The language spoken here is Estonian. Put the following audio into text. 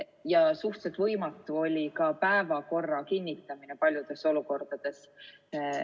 Ja suhteliselt võimatu oli ka päevakorra kinnitamine paljudes olukordades.